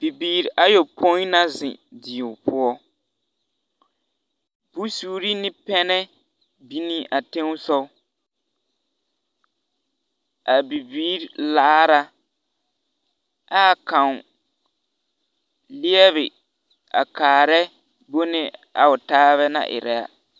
Bibiiri ayopoi na zeŋ die poɔ, bonsuuri ane pɛmɛ bini a teŋ sɔg, a bibiiri laara a kaŋ leɛbe a kaarɛ bone a o taaba naŋ eraa. 13392